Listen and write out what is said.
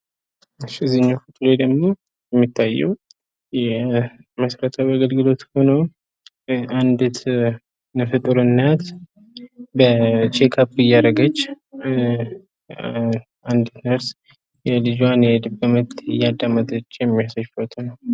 ይህ ደግሞ የሚታየው መሰረተ ልማት አገልግሎት ሲሆን፤ አንዲት ነፍሰጡር እናት ልጇን እያረጋገጠችና አንዲት ነርስም የልጇን የልብ ምት እያዳመጠች የሚያሳይ ፎቶ ነው።